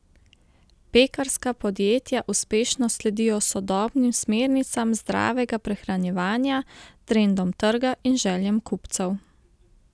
Pekarska podjetja uspešno sledijo sodobnim smernicam zdravega prehranjevanja, trendom trga in željam kupcev.